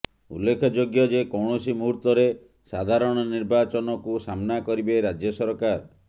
ଉଲ୍ଲେଖଯୋଗ୍ୟ ଯେ କୌଣସି ମୁହୂର୍ତରେ ସାଧାରଣ ନିର୍ବାଚନକୁ ସାମ୍ନା କରିବେ ରାଜ୍ୟ ସରକାର